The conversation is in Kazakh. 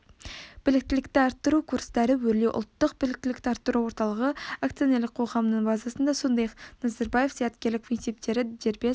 біліктілікті арттыру курстары өрлеу ұлттық біліктілікті арттыру орталығы акционерлік қоғамының базасында сондай-ақ назарбаев зияткерлік мектептері дербес